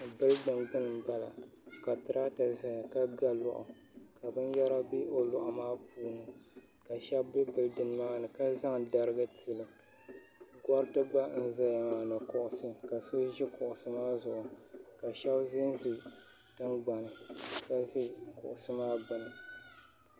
bilidin gbuni m-bala ka tiraata zaya ka ga lɔɣu ka binyɛra be o lɔɣu maa puuni ka shɛba be bilidin maani ka zaŋ dariga tili gɔriti gba n-zaya maa ni kuɣisi ka so ʒi kuɣisi maa zuɣu ka zanza tiŋgbani ni ka za kuɣisi maa gbuni